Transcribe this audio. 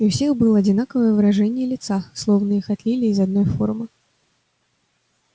и у всех было одинаковое выражение лица словно их отлили из одной формы